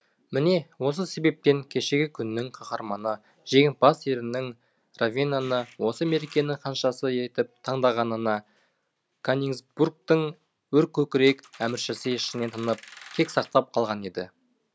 міне осы себептен кешегі күннің қаһарманы жеңімпаз серінің ровенаны осы мерекенің ханшасы етіп таңдағанына конингсбургтың өркөкірек әміршісі ішінен тынып кек сақтап қалған еді